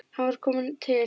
Hann var kominn til